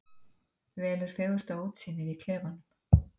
Velur fegursta útsýnið í klefanum.